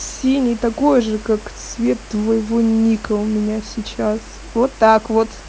синий такой же как цвет твоего ника у меня сейчас вот так вот